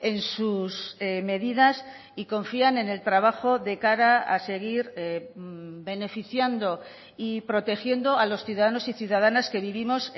en sus medidas y confían en el trabajo de cara a seguir beneficiando y protegiendo a los ciudadanos y ciudadanas que vivimos